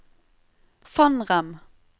Fannrem